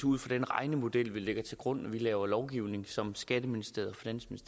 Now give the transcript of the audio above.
ud fra den regnemodel vi lægger til grund når vi laver lovgivning som skatteministeriet